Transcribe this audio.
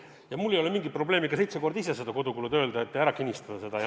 Ja mul ei ole mingit probleemi ka seitse korda "kodukulud" öelda.